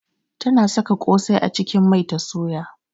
Tana saka kosai a cikin mai ta soya.